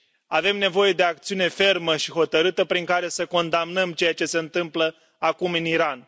Avem nevoie de acțiune fermă și hotărâtă prin care să condamnăm ceea ce se întâmplă acum în Iran.